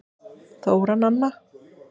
Þóra Nanna.